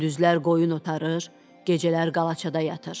Gündüzlər qoyun otarır, gecələr qalaçada yatır.